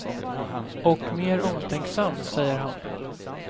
Och mer omtänksam, säger han.